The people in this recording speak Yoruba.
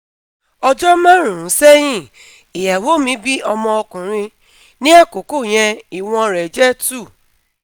Ọjọ́ márùn-ún sẹ́yìn ìyàwó mi bí ọmọ ọkùnrin, ní àkókò yẹn ìwọ̀n rẹ̀ jẹ́ 2